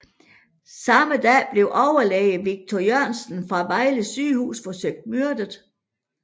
Samme dag blev overlæge Viktor Jørgensen fra Vejle Sygehus forsøgt myrdet